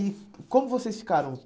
E como vocês ficaram?